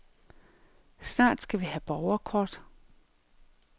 Snart skal vi have borgerkort.